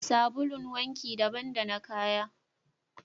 Sabulun wanki daban da na kaya